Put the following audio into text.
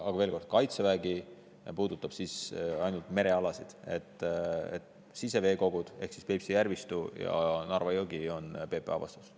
Veel kord: Kaitseväge puudutavad ainult merealad, siseveekogud ehk Peipsi järvistu ja Narva jõgi on PPA vastutusala.